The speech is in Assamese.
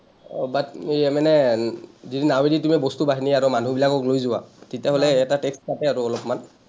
আহ but এই মানে যদি নাৱেদি তুমি বস্তু বাহানি আৰু মানুহ বিলাকক লৈ যোৱা, তেতিয়াহলে এটা tax কাটে আৰু অলপমান।